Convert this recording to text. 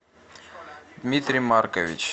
дмитрий маркович